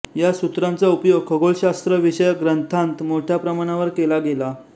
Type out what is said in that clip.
या सूत्रांचा उपयोग खगोलशास्त्रविषयक ग्रंथांत मोठ्या प्रमाणावर केला गेला